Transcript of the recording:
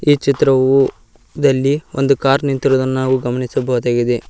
ಈ ಚಿತ್ರವು ದಲ್ಲಿ ಒಂದು ಕಾರ್ ನಿಂತಿರುವುದನ್ನ ನಾವು ಗಮನಿಸಬಹುದಾಗಿದೆ.